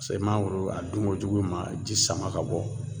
Se mangoro a dunko jugu ma ji sama ka bɔ